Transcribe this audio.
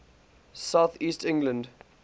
south east england